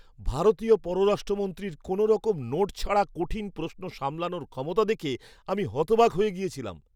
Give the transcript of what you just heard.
ভারতীয় পররাষ্ট্রমন্ত্রীর কোনোরকম নোট ছাড়া কঠিন প্রশ্ন সামলানর ক্ষমতা দেখে আমি হতবাক হয়ে গেছিলাম!